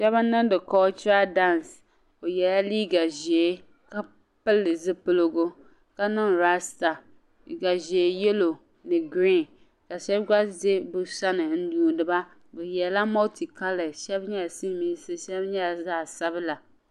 Shɛba n-niŋdi kɔchira daansi. O yɛla liiga ʒee ka pili zipiligu ka niŋ raasita. Liiga ʒee yɛlo ni girin shɛba gba za bɛ sani n-yuuni ba bɛ yɛla mɔlitikalɛsi shɛba nyɛla silimiinsi shɛba nyɛla zaɣ' sabila.